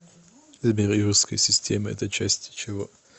сбер юрская система это часть чего